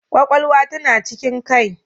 Kwakwalwa tana cikin Kai